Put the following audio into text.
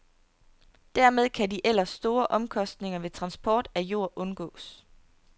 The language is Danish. Dermed kan de ellers store omkostninger ved transport af jord undgås.